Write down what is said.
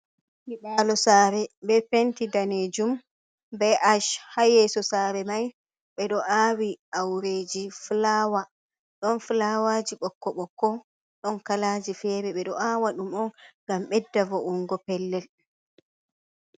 Nyibalo sare be penti danejum be ash ha yesso sare mai ɓeɗo awi aureji fulawa ɗon fulawaji bokko bokko ɗon kalaji fere ɓedo awa ɗum on ngam ɓedda vo’ungo pellel.